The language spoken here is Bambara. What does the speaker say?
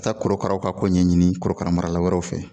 Ka taa korokaraw ka ko ɲɛɲini korokara marala wɛrɛw fɛ